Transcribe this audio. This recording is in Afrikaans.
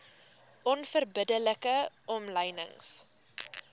onverbidde like omlynings